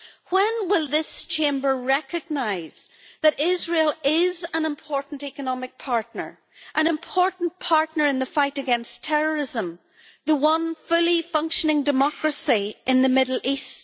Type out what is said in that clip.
When will this Chamber recognise that Israel is an important economic partner, an important partner in the fight against terrorism, and the only fully functioning democracy in the Middle East?